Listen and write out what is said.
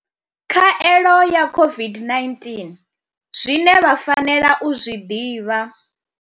Khaelo ya COVID-19, Zwine vha fanela u zwi ḓivha.